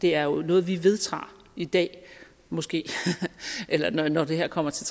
det er jo noget vi vedtager i dag måske eller når det her kommer til